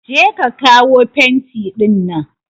Je ka kawo fenti ɗinnan!